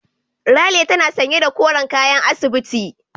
Ralia tana sanye da koren kayan asibiti.